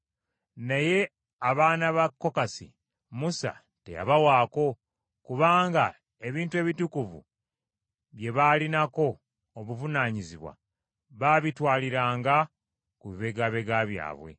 Naye abaana ba Kokasi, Musa teyabawaako, kubanga ebintu ebitukuvu bye baalinako obuvunaanyizibwa baabitwaliranga ku bibegabega byabwe.